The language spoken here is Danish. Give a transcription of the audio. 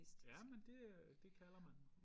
Ja men det øh det kalder man